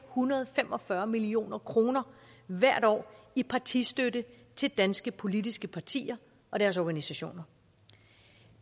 hundrede og fem og fyrre million kroner hvert år i partistøtte til danske politiske partier og deres organisationer